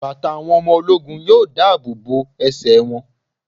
Bàtà àwọn ọmọ ológun yóò dáàbò bo ẹsẹ̀ wọn.